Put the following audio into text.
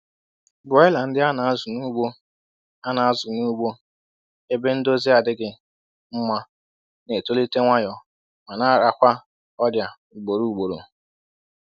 Broiler ndị a na-azụ n’ugbo a na-azụ n’ugbo ebe ndọzi adịghị mma na-etolite nwayọ ma na-arakwa ọrịa ugboro ugboro